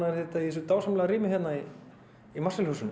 er þetta í þessu dásamlega rými í Marshall húsinu